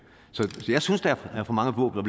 så jeg synes der er for mange våben